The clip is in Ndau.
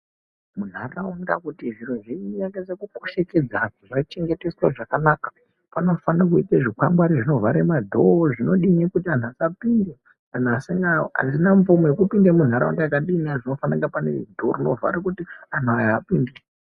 Munharaunda kuti zviro zvichengetedzeke zvakanaka panofana kuite zvikwangwari zvinovhare madhoo zvinodini kuti anhu asapinde asina mvumo yekupinda munharaunda. Panofana kunge pane dhoo rinovhara zvakanaka kuti anhu aya apinde.